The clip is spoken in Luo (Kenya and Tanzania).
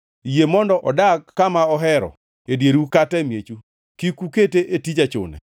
Yie mondo odak kama ohero e dieru kata e miechu. Kik ukete e tij achune.